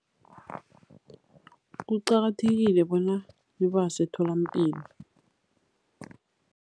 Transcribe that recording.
Kuqakathekile bona ibase etholampilo.